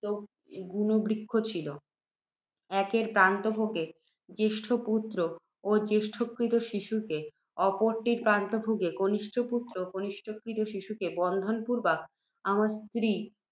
গুণবৃক্ষ ছিল, একের প্রান্তভাগে জ্যেষ্ঠ পুত্ত্র ও জ্যেষ্ঠ ক্রীত শিশুকে, অপরটির প্রান্তভাগে কনিষ্ঠ পুত্ত্র ও কনিষ্ঠ ক্রীত শিশুকে বন্ধন পূর্ব্বক, আমরা স্ত্রী